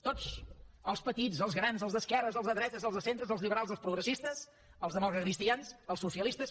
tots els petits els grans els d’esquerres els de dretes els de centre els liberals els progressistes els democratacristians els socialistes